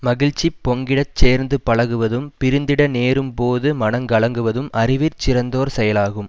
மகிழ்ச்சி பொங்கிடச் சேர்ந்து பழகுவதும் பிரிந்திட நேரும் போது மனங்கலங்குவதும் அறிவிற் சிறந்தோர் செயலாகும்